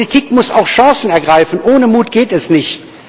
Politik muss auch Chancen ergreifen, ohne Mut geht es nicht.